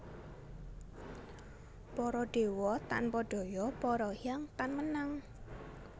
Para dewa tanpa daya para hyang tan menang